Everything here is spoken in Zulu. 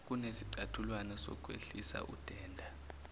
kunesicathulwana sokwehlisa udenda